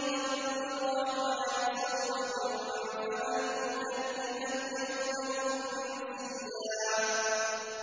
لِلرَّحْمَٰنِ صَوْمًا فَلَنْ أُكَلِّمَ الْيَوْمَ إِنسِيًّا